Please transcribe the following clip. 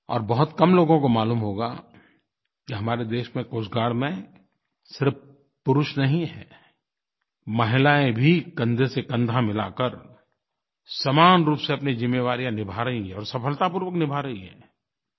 और बहुत कम लोगों को मालूम होगा कि हमारे देश में कोस्ट गार्ड में सिर्फ़ पुरुष नहीं हैं महिलायें भी कन्धे से कन्धा मिला कर समान रूप से अपनी जिम्मेवारियाँ निभा रहीं हैं और सफलतापूर्वक निभा रहीं हैं